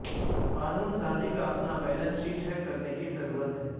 قانون سازی کا اپنا بیلنس شیٹ ہے کرنے کی ضرورت ہے